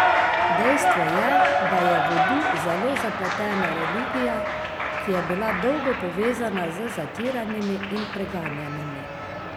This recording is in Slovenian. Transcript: Dejstvo je, da je vudu zelo zapletena religija, ki je bila dolgo povezana z zatiranimi in preganjanimi.